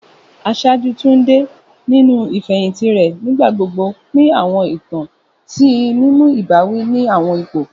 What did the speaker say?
Aṣáájú Tunde, ninu ifehinti rẹ, nigbagbogbo pin awọn itan ti mimu ibawi ni awọn ipo.